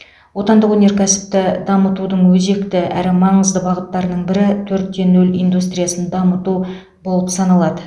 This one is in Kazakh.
отандық өнеркәсіпті дамытудың өзекті әрі маңызды бағыттарының бірі төрт те нөл индустриясын дамыту болып саналады